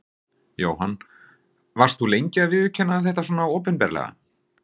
Jóhann: Varst þú lengi að viðurkenna þetta svona opinberlega?